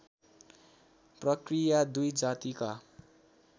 प्रकृया दुई जातिका